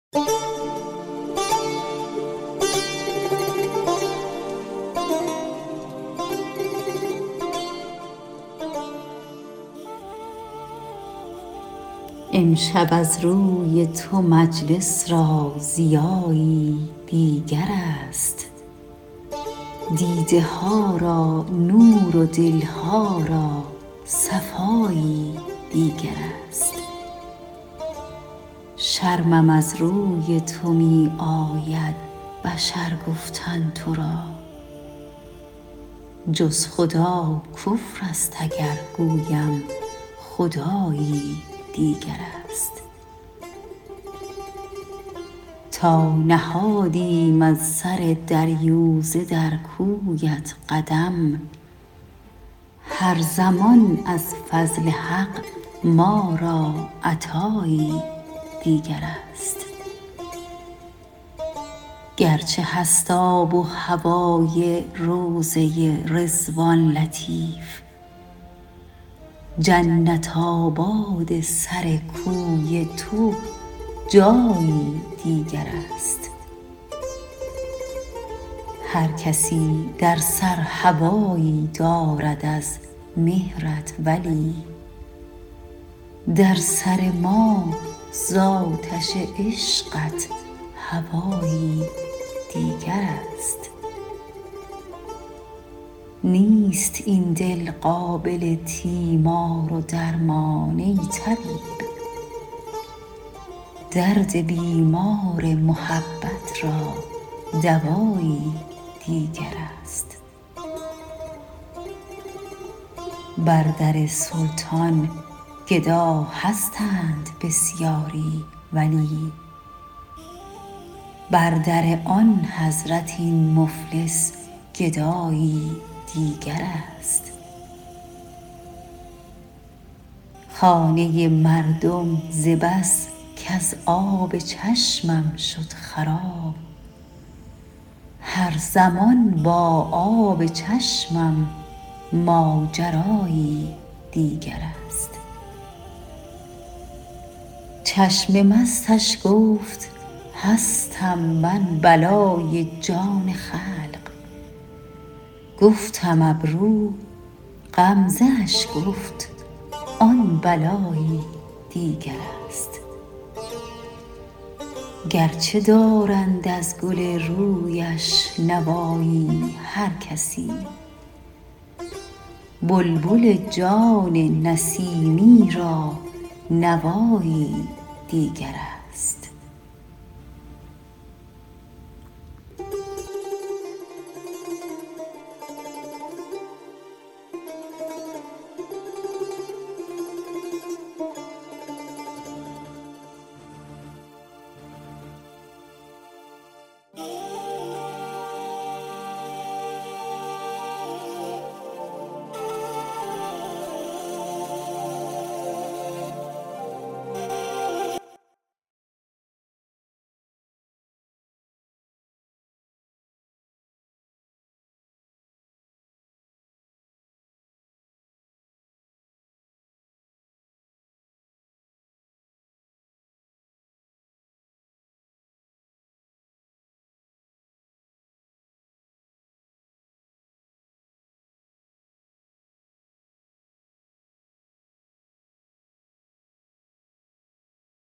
امشب از روی تو مجلس را ضیایی دیگر است دیده ها را نور و دل ها را صفایی دیگر است شرمم از روی تو می آید بشر گفتن تو را جز خدا کفر است اگر گویم خدایی دیگر است تا نهادیم از سر دریوزه در کویت قدم هر زمان از فضل حق ما را عطایی دیگر است گرچه هست آب و هوای روضه رضوان لطیف جنت آباد سر کوی تو جایی دیگر است هرکسی در سر هوایی دارد از مهرت ولی در سر ما ز آتش عشقت هوایی دیگر است نیست این دل قابل تیمار و درمان ای طبیب درد بیمار محبت را دوایی دیگر است بر در سلطان گدا هستند بسیاری ولی بر در آن حضرت این مفلس گدایی دیگر است خانه مردم ز بس کز آب چشمم شد خراب هر زمان با آب چشمم ماجرایی دیگر است چشم مستش گفت هستم من بلای جان خلق گفتم ابرو غمزه اش گفت آن بلایی دیگر است گرچه دارند از گل رویش نوایی هرکسی بلبل جان نسیمی را نوایی دیگر است